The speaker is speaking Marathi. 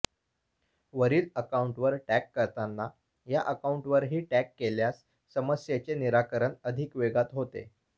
वरील अकाउंटवर टॅग करताना या अकाउंटवरही टॅग केल्यास समस्येचे निराकरण अधिक वेगात होते